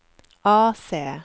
AC